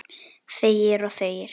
Þegir og þegir.